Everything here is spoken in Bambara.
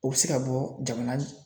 O bɛ se ka bɔ jamana